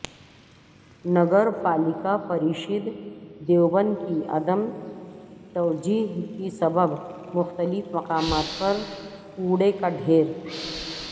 نگر پالیکا پریشد دیوبند کی عدم توجہی کے سبب مختلف مقامات پر کوڑے کا ڈھیر